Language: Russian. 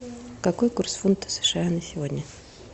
какой курс фунта сша на сегодня